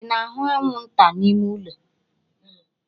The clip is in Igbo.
Ị na-ahụ anwụnta n'ime ụlọ?